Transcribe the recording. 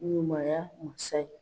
Ɲumaya masa ye.